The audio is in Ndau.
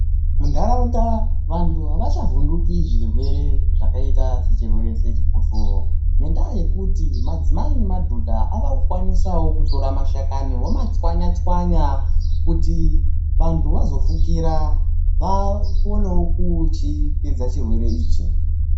Mundaraunda vantu hava chavhundiki zvirwere zvakaita sechirwere sechikosoro ngendaa yekuti madzimai nemadhodha avakukwanisa wo kutorawo mashakani vomachwanya chwanya kuti vantu vazofukira vaonewo kuchipedza chirwere ichi.